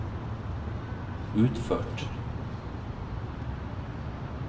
utført